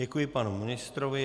Děkuji panu ministrovi.